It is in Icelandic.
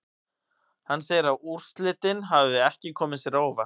Hann segir að úrslitin hafi ekki komið sér á óvart.